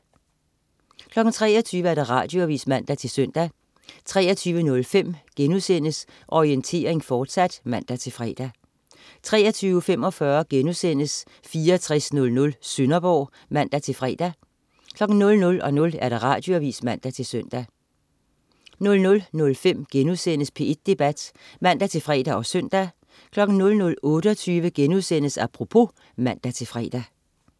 23.00 Radioavis (man-søn) 23.05 Orientering, fortsat* (man-fre) 23.45 6400 Sønderborg* (man-fre) 00.00 Radioavis (man-søn) 00.05 P1 Debat* (man-fre og søn) 00.28 Apropos* (man-fre)